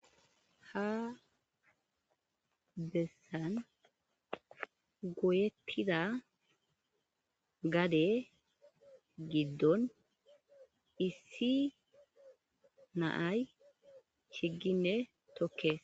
Ha bessan goyetida gade giddon issi na'ay chiggine tokkees.